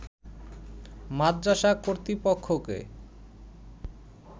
মাদরাসা কর্তৃপক্ষকে